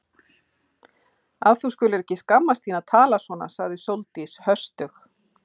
Að þú skulir ekki skammast þín að tala svona sagði Sóldís höstug.